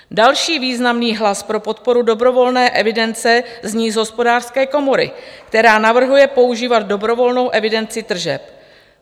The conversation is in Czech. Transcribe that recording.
Další významný hlas pro podporu dobrovolné evidence zní z Hospodářské komory, která navrhuje používat dobrovolnou evidenci tržeb.